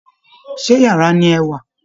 Ṣé yàrá ni ẹ wà?